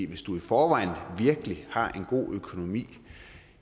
hvis du i forvejen virkelig har en god økonomi